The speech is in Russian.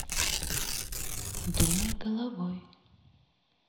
думай головой